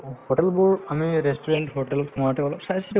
hotel বোৰ আমি restaurant hotel ত সোমাওতে অলপ চাইচিতি